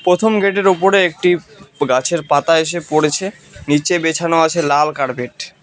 প্রথম গেটে -এর ওপরে একটি গাছের পাতা এসে পড়েছে নীচে বেছানো আছে লাল কার্পেট ।